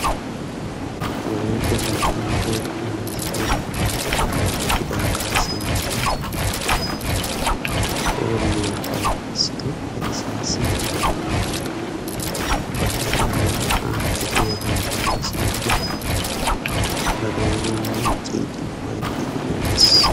Wolaytta dichcha toho kuwassiya cita kaassanchchay hooliyaa payddisidi ufayssas ba kushiya naa"a kefiyaadan paalissidi ba doonan miiccid ufayttidi woxxees.